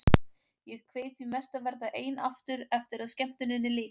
Ég kveið því mest að verða ein aftur eftir að skemmtuninni lyki.